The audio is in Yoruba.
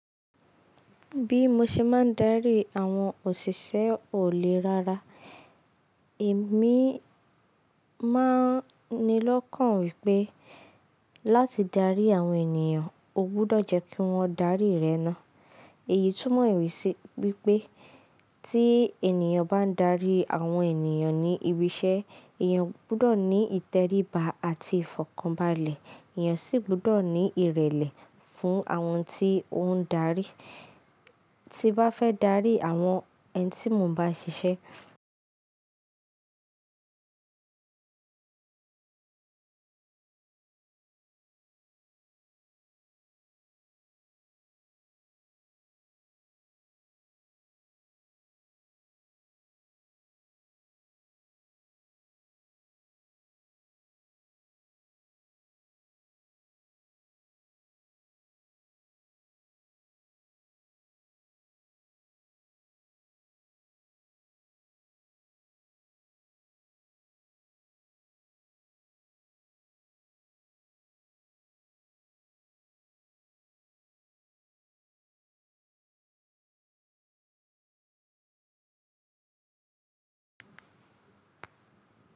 Bí mo ṣe máa ń darí àwọn òṣìṣẹ́ ọ̀ lẹ rara, èmi máa n ni lọ́kàn wípé láti darí àwọn ènìyàn, o gbọdọ̀ jẹ́ kí wọ́n darí rẹ ná. Èyí tún mọ sí wípé tí ènìyàn bá ń darí àwọn ènìyàn ní ibi iṣẹ́, èyàn gbudọ̀ ní ìtẹríba àti ìfọ̀kànbalẹ̀, èyàn sì gbudọ̀ ní ìrẹ̀lẹ̀ fún àwọn tí ó ń darí tí bá fẹ́ darí àwọn ẹni tí mo ń bá ṣiṣẹ́